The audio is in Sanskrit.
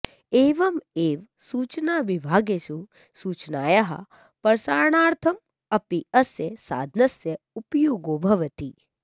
एवमेव सूचनाविभागेषु सूचनायाः प्रसारणार्थम् अपि अस्य साधनस्य उपयोगो भवति